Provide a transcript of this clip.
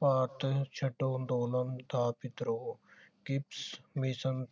ਭਾਰਤ ਛੱਡੋ ਅੰਦੋਲਨ ਦਾ ਵਿਦਰੋਹ ਕਮਿਸ਼ਨ